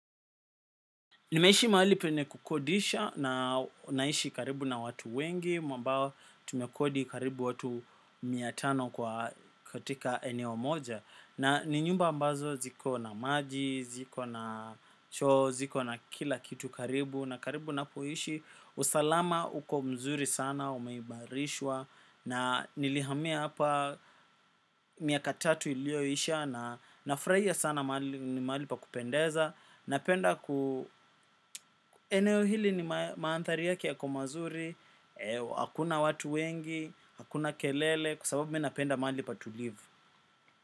Nimeishi mahali peyne kukodisha na naishi karibu na watu wengi mwambao tumekodi karibu watu miatano kwa katika eneo moja. Nani nyumba ambazo ziko na maji, ziko na choo, ziko na kila kitu karibu na karibu napoishi usalama uko mzuri sana umeimarishwa. Na nilihamia hapa miaka tatu iliyoisha na nafurahia sana mahali pa kupendeza. Napenda ku eneo hili ni maanthari yake yako mazuri. Hakuna watu wengi, hakuna kelele kwa sababu minapenda maali pa tulivu.